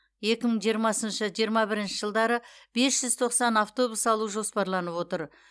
екі мың жиырмасыншы жиырма бірінші жылдары бес жүз тоқсан автобус алу жоспарланып отыр